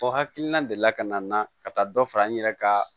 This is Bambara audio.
O hakilina deli la ka na nan ka taa dɔ fara n yɛrɛ kan